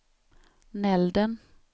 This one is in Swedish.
Nälden